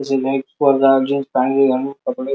जुना एक पोरगा जीन्स पॅन्ट घालून कपडे--